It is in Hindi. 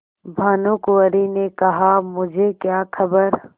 भानुकुँवरि ने कहामुझे क्या खबर